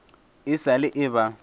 e sa le e eba